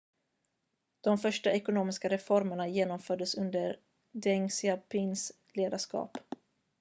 de första ekonomiska reformerna genomfördes under deng xiaopings ledarskap